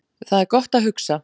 Þar er gott að hugsa